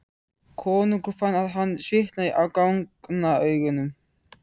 Konungur fann að hann svitnaði á gagnaugunum.